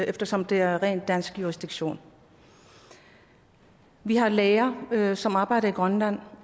eftersom det er ren dansk jurisdiktion vi har læger som arbejder i grønland